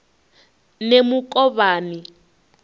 nemukovhani